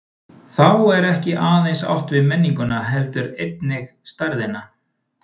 Þá er ekki aðeins átt við menninguna heldur einnig stærðina.